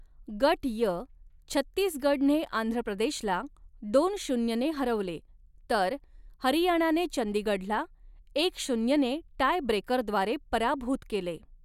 गट य, छत्तीसगढने आंध्रप्रदेशला दोन शून्य ने हरवले तर हरियाणाने चंडीगढला एक शून्यने टायब्रेकरद्वारे पराभूत केले.